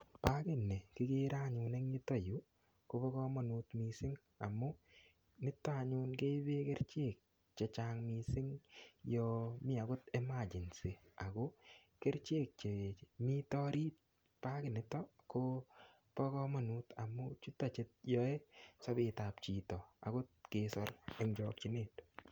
Pagini kigere anyun eng yuto yu kobo kamanut mising amu nito anyun keipe kerichek che chang mising yo mi agot emergency ago kerichek che mito arit paginitok kobo kamanut amu chuto che in yoe sobetab chito agot kesor eng chokchinet.